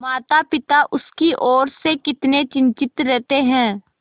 मातापिता उसकी ओर से कितने चिंतित रहते हैं